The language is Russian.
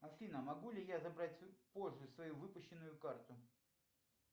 афина могу ли я забрать позже свою выпущенную карту